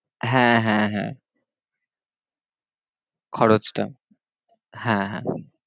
হ্যাঁ হ্যাঁ হ্যাঁ খরচটা হ্যাঁ হ্যাঁ